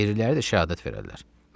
Qeyriləri də şəhadət verərlər.